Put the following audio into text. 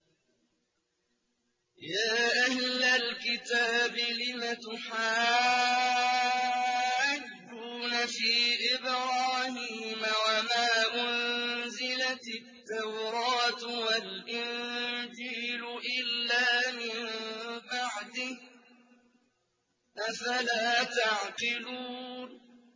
يَا أَهْلَ الْكِتَابِ لِمَ تُحَاجُّونَ فِي إِبْرَاهِيمَ وَمَا أُنزِلَتِ التَّوْرَاةُ وَالْإِنجِيلُ إِلَّا مِن بَعْدِهِ ۚ أَفَلَا تَعْقِلُونَ